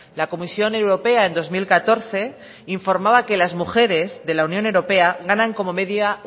la comisión europea en dos mil catorce informaba que las mujeres de la unión europea ganan como media